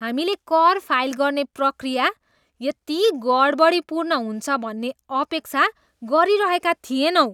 हामीले कर फाइल गर्ने प्रक्रिया यति गडबडीपूर्ण हुन्छ भन्ने अपेक्षा गरिरहेका थिएनौँ!